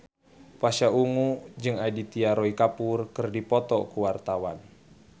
Pasha Ungu jeung Aditya Roy Kapoor keur dipoto ku wartawan